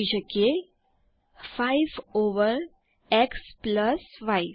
આપણે 5 over x y લખી શકીએ